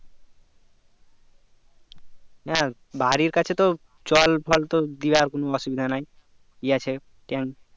হ্যাঁ বাড়ির কাছে তো জল ফল তো দিয়ার কোনো অসুবিধা নাই ই আছে ট্যাঙ্ক ।